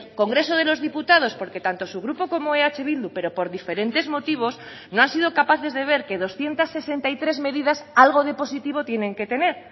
congreso de los diputados porque tanto su grupo como eh bildu pero por diferentes motivos no han sido capaces de ver que doscientos sesenta y tres medidas algo de positivo tienen que tener